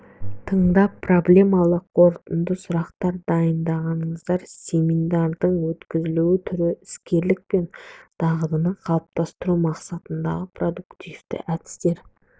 тыңдап проблемалық қорытынды сұрақтар дайындаңыздар семинардың өткізілу түрі іскерлік пен дағдыны қалыптастыру мақсатындағы продуктивті әдістер